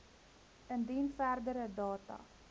indien verdere data